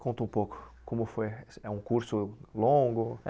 Conta um pouco como foi, é um curso longo?